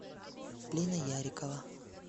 лина ярикова